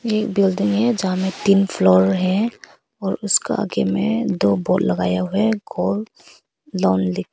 एक बिल्डिंग है जहां में तीन फ्लोर हैं और उसका आगे में दो बोर्ड लगाया हुआ है गोल्ड लोन लिख के।